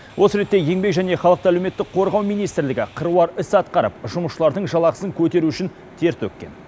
осы ретте еңбек және халықты әлеуметтік қорғау министрлігі қыруар іс атқарып жұмысшылардың жалақысын көтеру үшін тер төкккен